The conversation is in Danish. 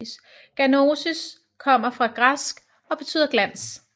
Ganosis kommer fra græsk og betyder glans